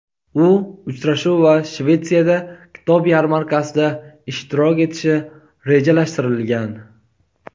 U uchrashuv va Shvetsiyada kitob yarmarkasida ishtirok etishi rejalashtirilgan.